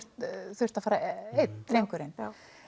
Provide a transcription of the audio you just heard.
þurft að fara einn drengurinn